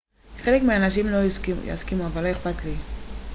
חלק מהאנשים אולי לא יסכימו אבל לא אכפת לי